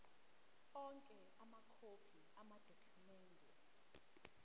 onke amakhophi amadokhumende